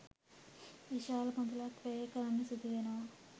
විශාල මුදලක් වැය කරන්න සිදු වෙනවා.